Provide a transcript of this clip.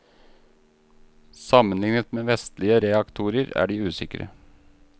Sammenlignet med vestlige reaktorer er de usikre.